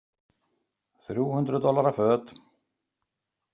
Þrjú hundruð dollara föt.